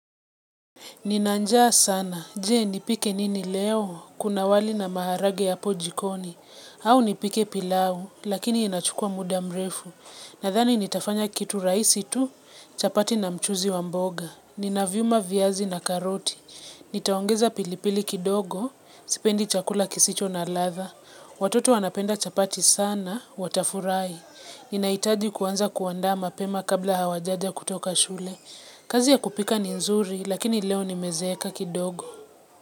Nina njaa sana, je nipike nini leo, kuna wali na maharagwe hapo jikoni, au nipike pilau, lakini inachukua muda mrefu. Nathani nitafanya kitu rahisi tu, chapati na mchuzi wa mboga. Ninaviuma vyazi na karoti. Nitaongeza pilipili kidogo, sipendi chakula kisicho na latha. Watoto wanapenda chapati sana, watafurai. Ninaitaji kuanza kuandaa mapema kabla hawajaja kutoka shule. Kazi ya kupika ni nzuri lakini leo nimezeeka kidogo.